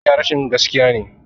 Yin ƙarya rashin gaskiya ne.